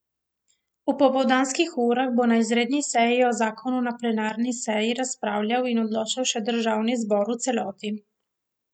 V popoldanskih urah bo na izredni seji o zakonu na plenarni seji razpravljal in odločal še državni zbor v celoti.